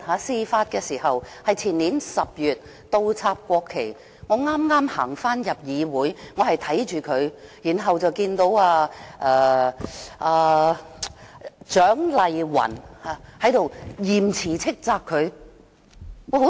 事發於前年10月，那時我剛巧返回會議廳，看見他這樣做，然後看到蔣麗芸議員嚴詞斥責他。